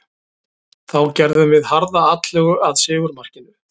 Þá gerðum við harða atlögu að sigurmarkinu.